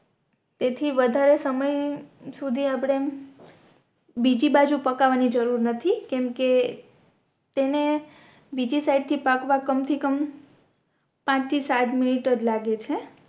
જેથી વધારે સમય સુધી આપણે બીજી બાજુ પકવાની જરૂર નથી કેમ કે તેને બીજી સાઇડ થી પાકવા કમ થી કમ પાંચ થી સાત મિનિટ આજ લાગે છે